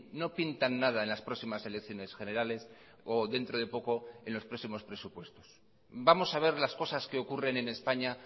no pintan nada en las próximas elecciones generales o dentro de poco en los próximos presupuestos vamos a ver las cosas que ocurren en españa